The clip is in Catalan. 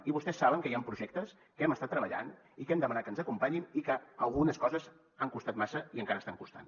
i vostès saben que hi han projectes que hem estat treballant i que hem demanat que ens acompanyin i que algunes coses han costat massa i encara estan costant